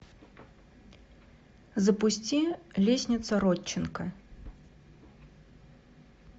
запусти лестница родченко